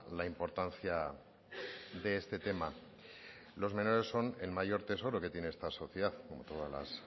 la importancia de este tema los menores son el mayor tesoro que tiene esta sociedad como todas las